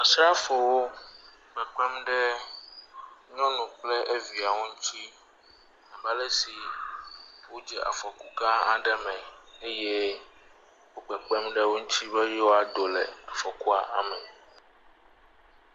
Asrafowo kpekpem ɖe nyɔnu kpe evia ŋuti abe alesi wodze afɔku gã aɖe me eye wo kàpekpem ɖe wo ŋuti be yewoado le afɔkua me.